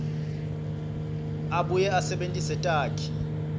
abuye asebentise takhi